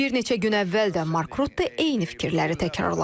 Bir neçə gün əvvəl də Mark Rutte eyni fikirləri təkrarladı.